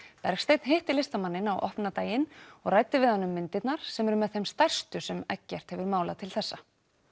Bergsteinn hitti listamanninn á opnunardaginn og ræddi við hann um myndirnar sem eru með þeim stærstu sem Eggert hefur málað til þessa